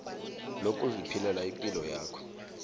lokuziphilela ipilo yakho